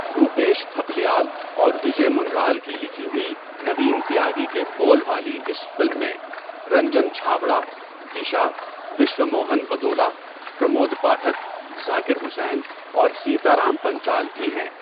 روپیش تھپلیال اور وجے منرال کی لکھی ہوئی، نوین تیاگی کے بول والی اس فلم میں رنجن چھابرا، دیشا، وشوا موہن بدولا، پرمود پاٹھک، ذاکر حسین اور سیتارام پنچال بھی ہیں۔